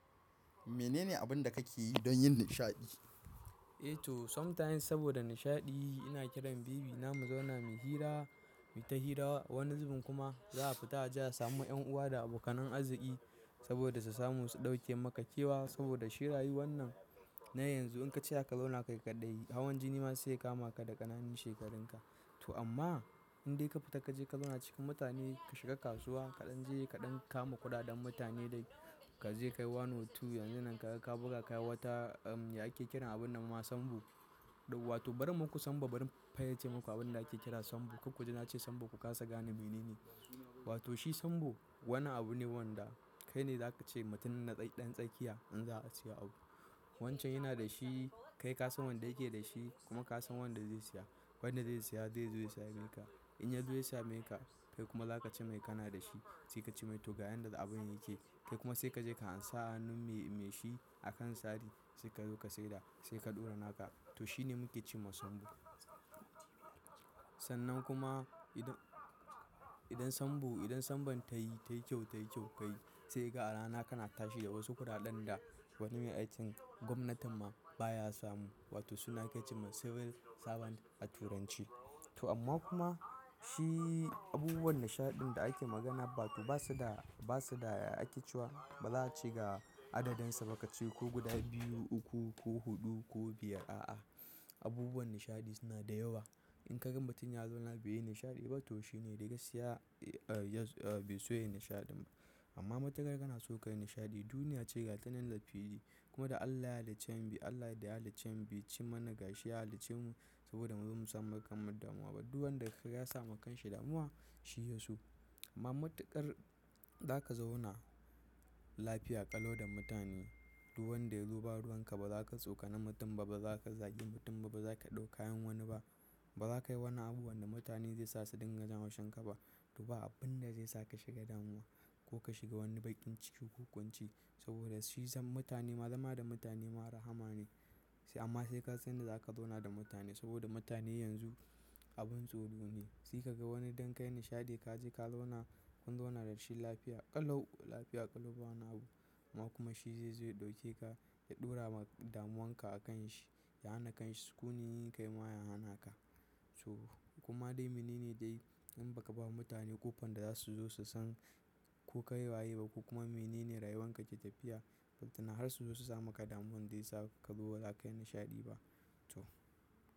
Menene abun da kake yi don yin nishaɗi? Eh to, sometimes saboda nishaɗi, ina kiran baby na mu zauna mu yi hira, mu yi ta hira wani zubin kuma za a fita ajiya samu 'yan uwa da abokan anaziƙi saboda su samu su ɗauke maka kewa saboda shirayi wannan. Na yanzu in ka ce za ka zauna kai kaɗai, hawan jini ma zai kama ka da ƙananun shekarunka. To amma in dai ka fita ka je ka zauna cikin mutane, ka shiga kasuwa, kaɗan je kaɗan kama kuɗaɗen mutane dai ka je ka yi wani wutu, yanzu nan ka buga ka yi wata, um, ake kiran abun nan ma sambo. Wato bari muku sambo, bari in fayarce muku abin da ake kira sambo. Ku kuje na ce sambo ku kasa gane mene ne. Wato shi sambo wani abu ne wanda kai ne za ka ce mutumin naɗaɗen tsakiya in za a siya abu. Wancan yana da shi, kai ka san wanda yake da shi kuma ka san wanda zai siya. Wanda zai siya zai zo ya saya maka. In ya zo ya saya maka, kai kuma za ka ce mai kana da shi. Sai ka ce mai to ga yanda abun yake. Kai kuma sai ka je ka ansa hannun mai shi a kan sari sai ka zo ka saida sai ka ɗora naka. To shine muke cewa sambo. Sannan kuma idan, idan sambo, idan sambon ta yi, ta yi kyau, ta yi kyau kai. Sai ga a rana kana tashi da wasu kuɗaɗan da wani mai aikin gwamnati ma baya samu. Wato suna ake cewa civil servant a turanci. To amma kuma shi abubuwan nishaɗin da ake magana ba to ba su da, ba su da ya ake cewa ba za a ci ga adadinsa ba ka sayi ko guda biyu, uku ko huɗu ko biyar. A'a, abubuwan nishaɗi suna da yawa. In ka gan mutum ya zauna bai yi nishaɗi ba to shi ne dai ga siya, bai so ya yi nishaɗi. Amma matuƙar kana so ka yi nishaɗi, duniya ce gata nan da fili. Kuma da Allah ya haliccen mu, Allah da ya haliccen mu ya ci mana gashi, ya halicce mu saboda mu zai musamman kar mu damu. Abdu wanda ya sa kan shi damuwa, shi ya so. Amma matuƙar za ka zauna lafiya, ƙalo da mutane. Ruwan da ya zo ba ruwan ka ba, ba za ka tsokana mutum ba, ba za ka zagi mutum ba, ba za ka ɗau kayan wani ba. Ba za ka yi wani abu wanda mutane zai sasu dinga jan haushin ka ba. Duba abin da zai saka shiga damuwa ko ka shiga wani baƙin ciki ko ƙunci saboda shi zan mutane ma zama da mutane ma rahama ne. Amma sai ka san da za ka zauna da mutane saboda mutane yanzu abun tsoro ne. Sai ka ga wani don ka yi nishaɗi ka je ka zauna, kun zauna da rashin lafiya, ƙalo, lafiya ƙalubawa na abu. Ma kuma shi zai zo ya ɗauke ka, ya ɗora damuwanka a kan shi, ya hana ka shi. Ko ne yin kai ma ya hana ka. To kuma dai mene ne dai in ba ka ba mutane ƙofan da za su zo su san ko ka yi waye ba ko kuma mene ne rayuwan ka ke tafiya. Ballatana na har su zo su sa maka damuwan dai sa ka zo ba za ka yi nishaɗi ba. To.